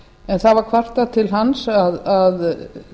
en það var kvartað til hans að